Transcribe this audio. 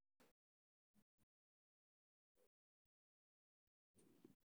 Kaadi-la'aanta kaadida waxaa lagu daweyn karaa oxybutynin.